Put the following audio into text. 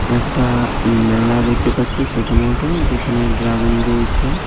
একটা মেলা দেখতে পাচ্ছি ছোটো মোটো যেখানে ড্রাগন রয়েছে .